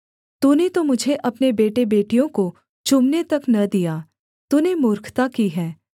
तूने तो मुझे अपने बेटेबेटियों को चूमने तक न दिया तूने मूर्खता की है